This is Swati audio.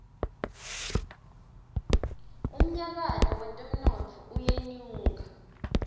umnyakato wetemnotfo uyenyuka